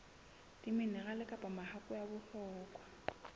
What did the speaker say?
diminerale kapa mahakwe a bohlokwa